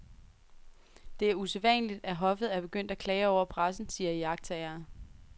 Det er usædvanligt, at hoffet er begyndt at klage over pressen, siger iagttagere.